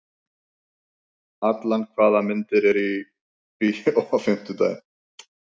Allan, hvaða myndir eru í bíó á fimmtudaginn?